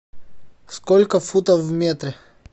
сколько футов в метре